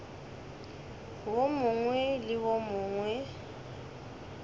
wo mongwe le wo mongwe